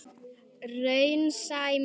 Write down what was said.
Raunsæ mynd?